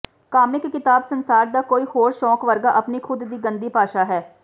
comic ਕਿਤਾਬ ਸੰਸਾਰ ਦਾ ਕੋਈ ਹੋਰ ਸ਼ੌਂਕ ਵਰਗਾ ਆਪਣੀ ਖੁਦ ਦੀ ਗੰਦੀ ਭਾਸ਼ਾ ਹੈ